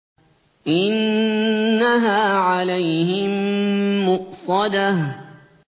إِنَّهَا عَلَيْهِم مُّؤْصَدَةٌ